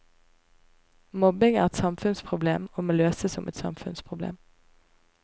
Mobbing er et samfunnsproblem, og må løses som et samfunnsproblem.